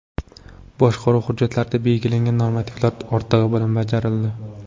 Boshqaruv hujjatlarida belgilangan normativlar ortig‘i bilan bajarildi.